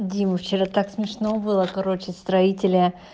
дима вчера так смешно было короче строителя